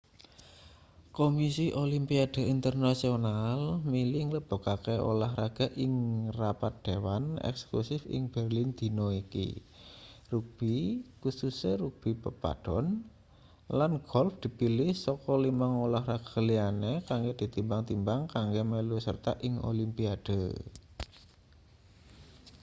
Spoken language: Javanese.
kumisi olimpiade internasional milih nglebokake ulahraga ing rapat dewan eksekutif ing berlin dina iki rugbi kususe rugbi pepadon lan golf dipilih saka limang ulahraga liyane kanggo ditimbang-timbang kanggo melu sarta ing olimpiade